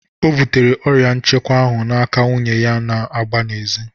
O bụtere ọrịa nchekwa ahụ n'aka nwunye ya na-agba n'ezi.